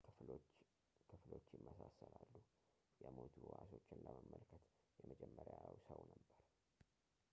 ክፍሎች ይመስላሉ የሞቱ ህዋሶችን ለመመልከት የመጀመሪያው ሰው ነበር